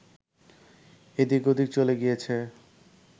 এদিক ওদিক চলে গিয়েছে